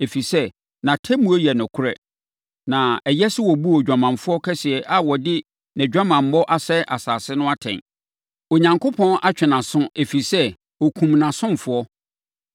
ɛfiri sɛ, nʼatemmuo yɛ nokorɛ na ɛyɛ sɛ ɔbuu odwamanfoɔ kɛseɛ a ɔde nʼadwamammɔ asɛe asase no atɛn. Onyankopɔn atwe nʼaso ɛfiri sɛ, ɔkumm nʼasomfoɔ.”